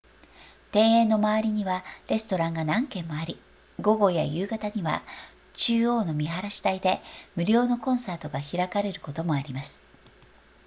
庭園の周りにはレストランが何件もあり午後や夕方には中央の見晴台で無料のコンサートが開かれることもあります